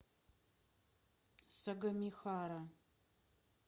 сагамихара